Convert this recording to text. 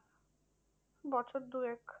বছর দুয়েক।